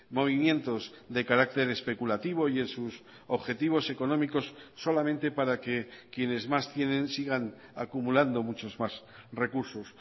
movimientos de carácter especulativo y en sus objetivos económicos solamente para que quienes más tienen sigan acumulando muchos más recursos